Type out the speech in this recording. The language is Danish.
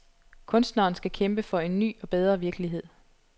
Kunstneren skal kæmpe for en ny og bedre virkelighed.